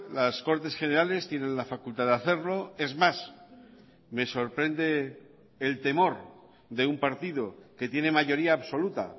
las cortes generales tienen la facultad de hacerlo es más me sorprende el temor de un partido que tiene mayoría absoluta